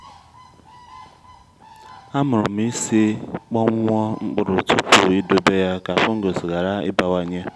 amụrụ m isi kpọnwụọ mkpụrụ tupu idobe ya ka fungus ghara ịbawanye